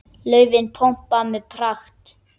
Laufin pompa með pragt.